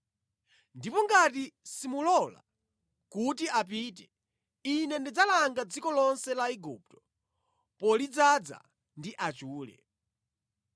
Ndipo ngati simulola kuti apite Ine ndidzalanga dziko lonse la Igupto polidzaza ndi achule.